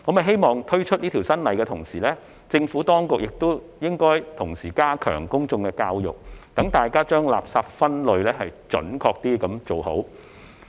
希望在推出這項新法例的同時，政府當局能夠加強公眾教育，讓大眾將垃圾準確分類。